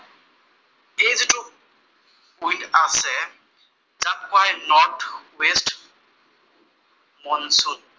window আছে, ছান point north west monsoon